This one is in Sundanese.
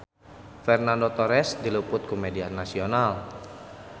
Fernando Torres diliput ku media nasional